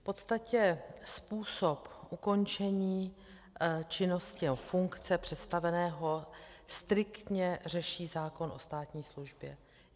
V podstatě způsob ukončení činnosti, nebo funkce představeného striktně řeší zákon o státní službě.